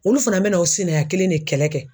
Olu fana bɛna o sinaya kelen de kɛlɛ kɛ